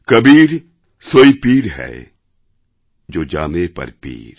কবীর সোঈ পীর হ্যায় জো জানে পর পীর